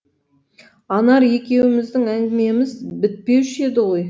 анар екеуміздің әңгімеміз бітпеуші еді ғой